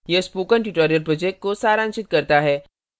यह spoken tutorial project को सारांशित करता है